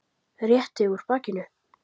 Rétti úr bakinu.